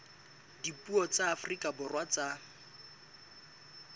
dipuo tsa afrika borwa tsa